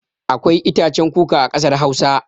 Akwai itacen kuka a kasar Hausa.